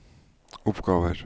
oppgaver